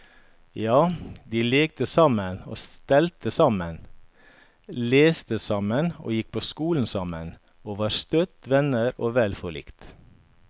Ja, de lekte sammen og stelte sammen, leste sammen og gikk på skole sammen, og var støtt venner og vel forlikt.